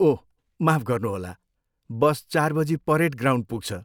ओह माफ गर्नुहोला, बस चार बजी परेड ग्राउन्ड पुग्छ।